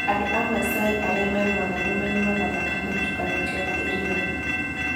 Andũ a Masai arĩa marũaga nĩ manyuaga thakame ĩtukanĩtio na iria.